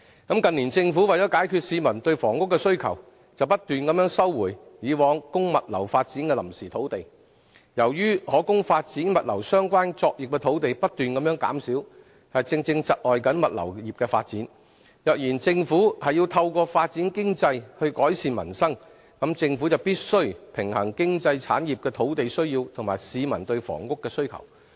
近年政府為解決市民對房屋的需求，不斷收回以往供物流發展的臨時土地，由於可供發展物流相關作業的土地不斷減少，正正窒礙物流業的發展，如果政府要透過發展經濟來改善民生，政府便必須平衡經濟產業的土地需要及市民對房屋的需求。